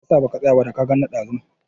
Me ya sa baka tsaya ba, da ka gan ni ɗazu?